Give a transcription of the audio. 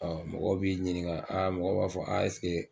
mɔgɔw b'i ɲininka mɔgɔw b'a fɔ .